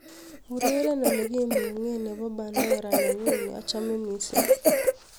ureren olegimung'en nepo pandora nenyun neochome missing